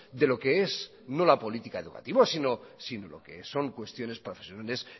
de lo que es no la política educativa sino lo que son cuestiones profesionales